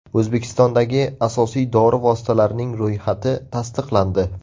O‘zbekistondagi asosiy dori vositalarining ro‘yxati tasdiqlandi.